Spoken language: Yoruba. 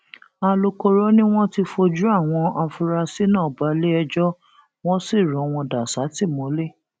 alūkkóró ni wọn ti fojú àwọn afurasí náà balẹẹjọ wọn sì rọ wọn dà sátìmọlé